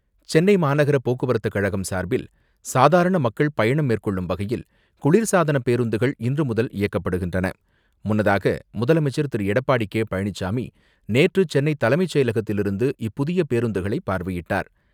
சென்னை மாநகர போக்குவரத்துக்கழகம் சார்பில், சாதாரண மக்கள் பயணம் மேற்கொள்ளும் வகையில், குளிர்சாதன பேருந்துகள் இன்றுமுதல் முன்னதாக, முதலமைச்சர் திரு.எடப்பாடி கே.பழனிசாமி நேற்று சென்னை தலைமை செயலகத்திலிருந்து இப்புதிய பேருந்துகளை பார்வையிட்டார்.